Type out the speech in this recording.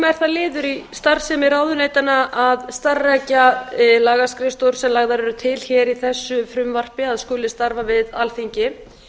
það liður í starfsemi ráðuneytanna að starfrækja lagaskrifstofa sem lagðar eru til hér í þessu frumvarpi að skuli starfa við alþingi